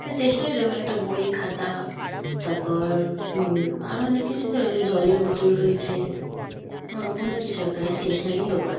এটা স্টেশনারি দোকান। এতো বই খাতা তারপর উম আরো অনেক কিছুতে রয়েছে জলের বোতল রয়েছে। ওরকমই কিছু একটা হ্যাঁ স্টেশনারি -ই দোকান।